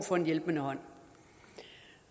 for en hjælpende hånd